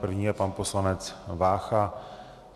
První je pan poslanec Vácha.